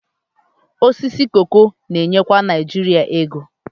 Osisi koko na-enyekwa Naijiria ego